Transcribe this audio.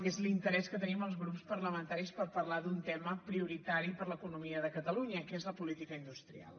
que és l’interès que tenim els grups parlamentaris per parlar d’un tema prioritari per a l’economia de catalunya que és la política industrial